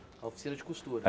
A oficina de costura?